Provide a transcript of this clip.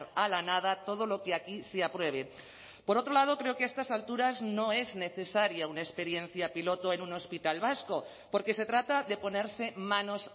a la nada todo lo que aquí se apruebe por otro lado creo que a estas alturas no es necesaria una experiencia piloto en un hospital vasco porque se trata de ponerse manos